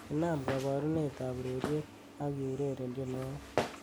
inaam koborunet am urereyet ak eureren tienwogik